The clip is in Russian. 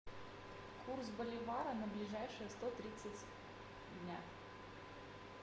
курс боливара на ближайшие сто тридцать дня